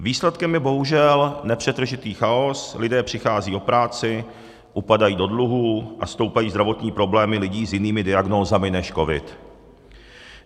Výsledkem je bohužel nepřetržitý chaos, lidé přicházejí o práci, upadají do dluhů a stoupají zdravotní problémy lidí s jinými diagnózami než covid.